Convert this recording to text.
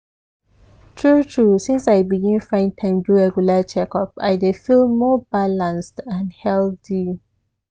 true true since i begin find time do regular checkup i dey feel more balanced and healthy.